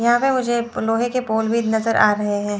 यहां पे मुझे लोहे के पोल भी नजर आ रहे हैं।